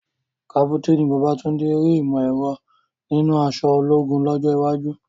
Kápúténì Babátúndé rí ìmọ̀ ẹ̀rọ nínú aṣọ ológun lọ́jọ́ iwájú.